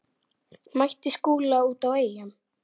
Mætti Skúla úti á Eyjum.